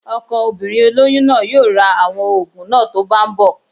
Ọkọ obìnrin olóyún náà yóò ra àwọn òògùn náà tó bá ń bọ̀